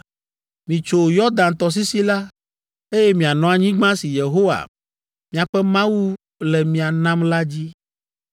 Mitso Yɔdan tɔsisi la, eye mianɔ anyigba si Yehowa, miaƒe Mawu le mia nam la dzi.